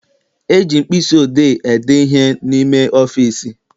E ji mkpịsị odee ede ihe n'ime ọfịịsi.